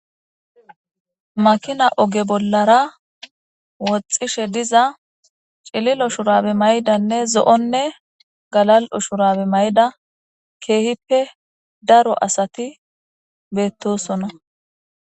Makina oge bollara woxxishe diza cililo shurabe mayidanne zo'onne galal'o shurabe mayida keehippe daro asati beetosona.